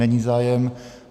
Není zájem.